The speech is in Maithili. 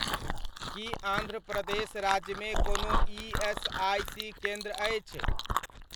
कि आन्ध्र प्रदेश राज्यमे कोनो ईएसआइसी केन्द्र अछि?